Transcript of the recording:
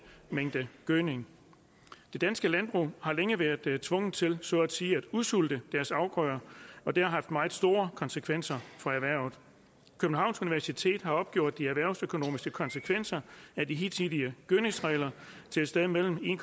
mængde gødning de danske landmænd har længe været været tvunget til så at sige at udsulte deres afgrøder og det har haft meget store konsekvenser for erhvervet københavns universitet har opgjort de erhvervsøkonomiske konsekvenser af de hidtidige gødningsregler til et sted mellem en